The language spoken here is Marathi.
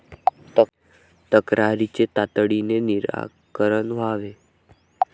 तक्रारींचे तातडीने निराकरण व्हावे.